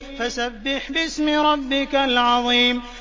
فَسَبِّحْ بِاسْمِ رَبِّكَ الْعَظِيمِ